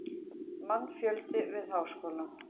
Mannfjöldi við Háskólann.